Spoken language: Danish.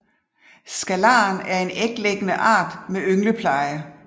Scalaren er en æglæggende art med yngelpleje